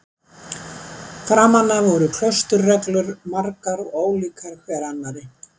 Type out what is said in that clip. Framan af voru klausturreglur margar og ólíkar hver annarri.